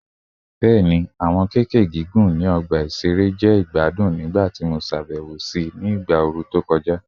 Bẹẹni, awọn keke gigun ni ọgba iṣere jẹ igbadun nigbati mo ṣabẹwo si igba ooru to kọja